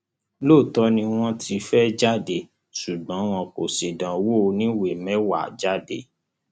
lóòótọ ni wọn ti fẹẹ jáde ṣùgbọn wọn kò ṣèdánwò oníwèé mẹwàá jáde